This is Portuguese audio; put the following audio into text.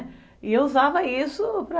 E eu usava isso para...